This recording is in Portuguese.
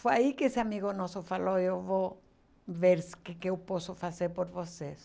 Foi aí que esse amigo nosso falou, eu vou ver o que eu posso fazer por vocês.